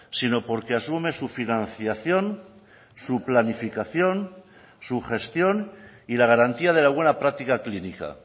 sino porque asume su financiación su planificación su gestión y la garantía de la buena práctica clínica